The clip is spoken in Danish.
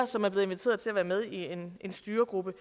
som er blevet inviteret til at være med i en styregruppe